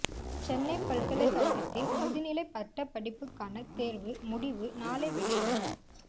சென்னை பல்கலைக்கழகத்தின் முதுநிலை பட்டப் படிப்புக்கான தேர்வு முடிவு நாளை வெளியீடு